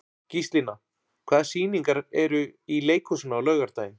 Gíslína, hvaða sýningar eru í leikhúsinu á laugardaginn?